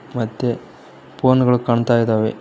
ಮತ್ತೆ ಫೋನ್ ಗಳು ಕಾಣ್ತಾ ಇದಾವೆ.